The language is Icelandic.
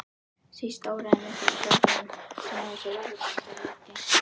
Síst óraði mig fyrir flækjunum sem af þessu ráðabralli leiddi.